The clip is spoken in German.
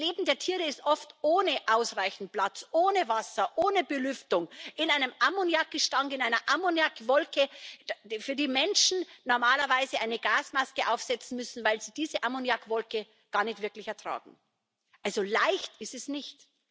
Das Leben der Tiere ist oft ohne ausreichend Platz, ohne Wasser, ohne Belüftung in einem Ammoniakgestank, in einer Ammoniakwolke, für die Menschen normalerweise eine Gasmaske aufsetzen müssen, weil sie diese Ammoniakwolke nicht wirklich ertragen. Also leicht ist es nicht!